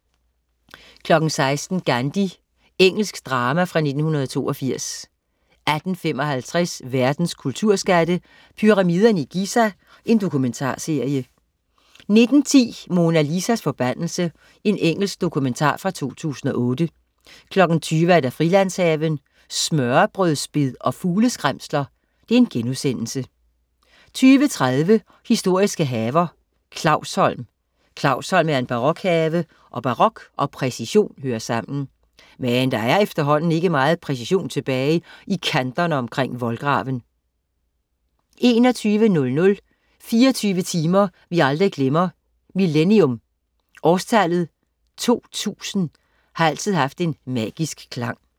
16.00 Gandhi. Engelsk drama fra 1982 18.55 Verdens kulturskatte. "Pyramiderne i Giza" Dokumentarserie 19.10 Mona Lisas forbandelse. Engelsk dokumentar fra 2008 20.00 Frilandshaven. Smørrebrødsbed og fugleskræmsler* 20.30 Historiske haver. Clausholm. Clausholm er en barokhave, og barok og præcision hører sammen. Men der er efterhånden ikke meget præcision tilbage i kanterne omkring voldgraven 21.00 24 timer vi aldrig glemmer: Millenium. Årstallet 2000 har altid haft en magisk klang